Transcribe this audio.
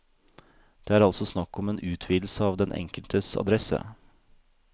Det er altså snakk om en utvidelse av den enkeltes adresse.